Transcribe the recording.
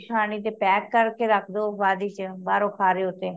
ਤੇ pack ਕਰ ਕੇ ਰੱਖ ਦੋ ਬਾਧ ਵਿਚ ਬਾਹਰੋਂ ਖਾ ਰੇ ਹੋ ਤੇ